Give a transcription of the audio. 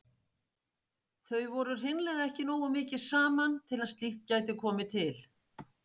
Þau voru hreinlega ekki nógu mikið saman til að slíkt gæti komið til.